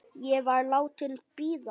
Ég var látin bíða.